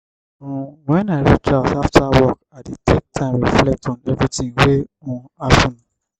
um wen i reach house after work i dey take time reflect on everytin wey um happen.